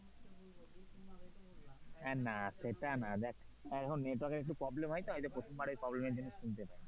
না, সেটা না। দেখ network এর একটু এখন problem হয় তো প্রথমবারে problem জন্য হয়তো শুনতে